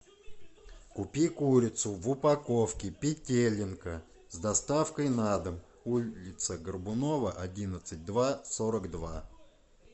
купи курицу в упаковке петелинка с доставкой на дом улица горбунова одиннадцать два сорок два